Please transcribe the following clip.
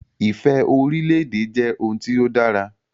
Ifẹ̀ orílè-èdè jẹ́ ohun tí ó dára